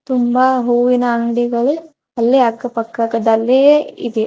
ತುಂಬಾ ಹೂವಿನ ಅಂಗಡಿಗಳು ಅಲ್ಲೇ ಅಕ್ಕ ಪಕ್ಕದಲ್ಲಿಯೇ ಇದೆ.